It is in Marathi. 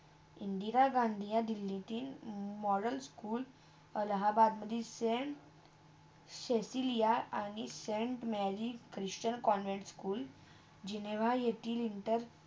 इंदिरा गंधी यह दिल्लीतील modern school अलाहाबादमधी सेंट सेसिलिया आणि saint Mary Christian convent school Geneva येतील inter